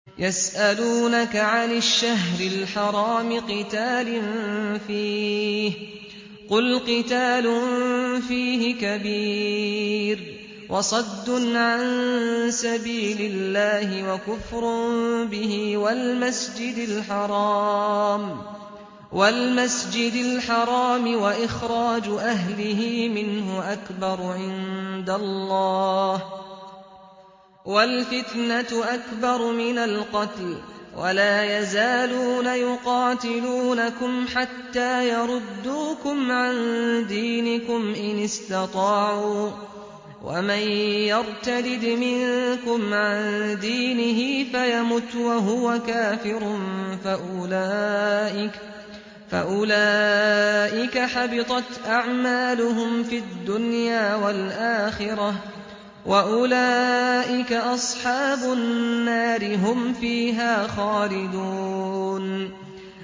يَسْأَلُونَكَ عَنِ الشَّهْرِ الْحَرَامِ قِتَالٍ فِيهِ ۖ قُلْ قِتَالٌ فِيهِ كَبِيرٌ ۖ وَصَدٌّ عَن سَبِيلِ اللَّهِ وَكُفْرٌ بِهِ وَالْمَسْجِدِ الْحَرَامِ وَإِخْرَاجُ أَهْلِهِ مِنْهُ أَكْبَرُ عِندَ اللَّهِ ۚ وَالْفِتْنَةُ أَكْبَرُ مِنَ الْقَتْلِ ۗ وَلَا يَزَالُونَ يُقَاتِلُونَكُمْ حَتَّىٰ يَرُدُّوكُمْ عَن دِينِكُمْ إِنِ اسْتَطَاعُوا ۚ وَمَن يَرْتَدِدْ مِنكُمْ عَن دِينِهِ فَيَمُتْ وَهُوَ كَافِرٌ فَأُولَٰئِكَ حَبِطَتْ أَعْمَالُهُمْ فِي الدُّنْيَا وَالْآخِرَةِ ۖ وَأُولَٰئِكَ أَصْحَابُ النَّارِ ۖ هُمْ فِيهَا خَالِدُونَ